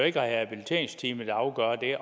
ikke rehabiliteringsteamet der afgør